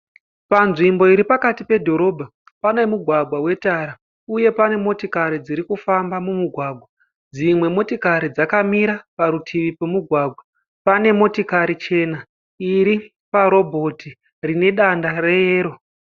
Panzvimbo iri pakati pe dhorobha pane mugwagwa we tara uye pane motikari dzirikufamba mumugwagwa. Dzimwe motikari dzakamira parutivi pemugwagwa. Pane motikari chena iri pa robot rine danda reyero.